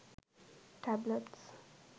tablets